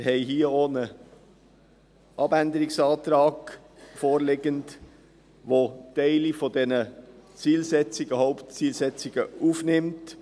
Wir haben hier auch einen Abänderungsantrag vorliegend, welcher Teile dieser Zielsetzungen, Hauptzielsetzungen, aufnimmt.